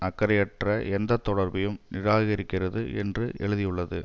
அக்கறையற்ற எந்த தொடர்பையும் நிராகரிக்கிறது என்று எழுதியுள்ளது